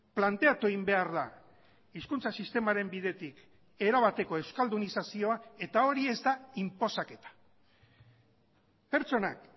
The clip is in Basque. planteatu egin behar da hizkuntza sistemaren bidetik erabateko euskaldunizazioa eta hori ez da inposaketa pertsonak